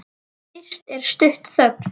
Fyrst er stutt þögn.